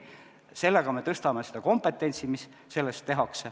Sellega me tõstame seda kompetentsi.